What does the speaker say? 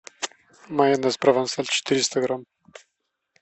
майонез провансаль четыреста грамм